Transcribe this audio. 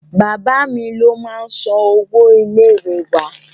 Bàbá mi ló máá ń san owó ilé ìwé wa